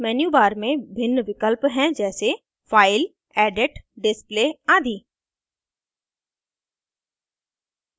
menu bar में भिन्न विकल्प हैं जैसे file edit display आदि